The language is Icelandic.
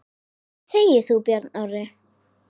Hvað segir þú, Björn Þorri?